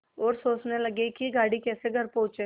और सोचने लगे कि गाड़ी कैसे घर पहुँचे